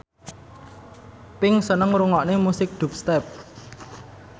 Pink seneng ngrungokne musik dubstep